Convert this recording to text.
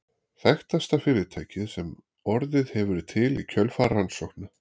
Þekktasta fyrirtækið sem orðið hefur til í kjölfar rannsókna